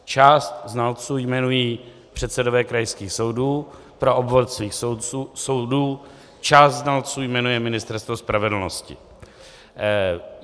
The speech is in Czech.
Část znalců jmenují předsedové krajských soudů pro obvod svých soudů, část znalců jmenuje Ministerstvo spravedlnosti.